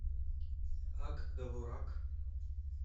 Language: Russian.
ак довурак